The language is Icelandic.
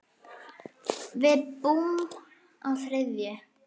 Við búum á þriðju hæð.